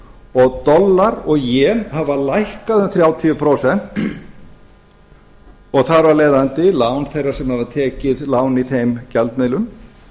og dollar og jen hafa lækkað um þrjátíu prósent og þar af leiðandi lán þeirra sem hafa tekið lán í þeim gjaldmiðlum